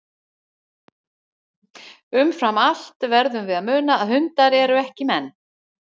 Umfram allt verðum við að muna að hundar eru ekki menn.